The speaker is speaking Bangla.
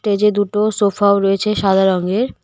টেজে দুটো সোফাও রয়েছে সাদা রঙের .